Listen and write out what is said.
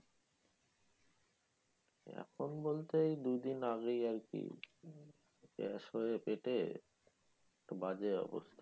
এখন বলতেই দুই দিন আগেই আরকি, গ্যাস হয়ে পেটে বাজে অবস্থা